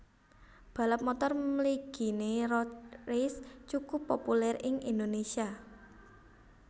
Balap motor mliginé road race cukup populèr ing Indonésia